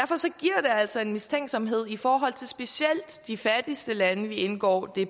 altså en mistænksomhed i forhold til specielt de fattigste lande vi indgår